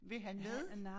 Vil han med?